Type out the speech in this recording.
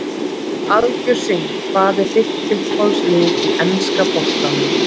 Algjör synd Hvað er þitt uppáhaldslið í enska boltanum?